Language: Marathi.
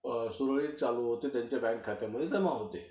सुरळीत चालू होते, त्यांच्या बँक खात्यामध्ये जमा होते.